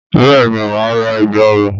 Bẹ́ẹ̀ni máa ra ègbà ọrùn.